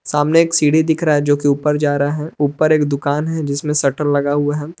सामने एक सीढ़ी दिख रहा है जोकि ऊपर जा रहा है ऊपर एक दुकान है। जिसमें शटर लगा हुआ है।